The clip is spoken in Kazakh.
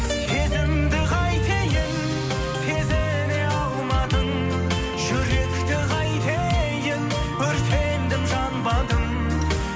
сезімді қайтейін сезіне алмадың жүректі қайтейін өртендім жанбадым